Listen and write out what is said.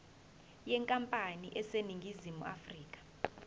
yenkampani eseningizimu afrika